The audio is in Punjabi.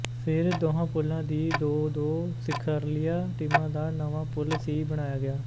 ਫਿਰ ਦੋਹਾਂ ਪੂਲਾਂ ਦੀਆਂ ਦੋ ਦੋ ਸਿਖ਼ਰਲੀਆਂ ਟੀਮਾਂ ਦਾ ਨਵਾਂ ਪੂਲ ਸੀ ਬਣਾਇਆ ਗਿਆ